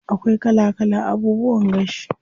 Akwai kala kala abubuwan gashi.